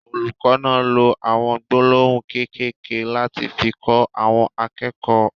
Olùkọ náà ló awọn gbólóhùn kékèké lati fi kọ àwọn akẹ́kọ̀ọ́.